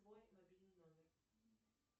мой мобильный номер